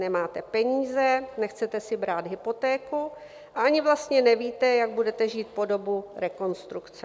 Nemáte peníze, nechcete si brát hypotéku a ani vlastně nevíte, jak budete žít po dobu rekonstrukce.